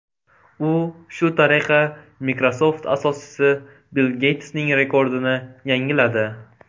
U shu tariqa Microsoft asoschisi Bill Geytsning rekordini yangiladi.